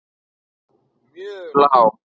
mjög lág.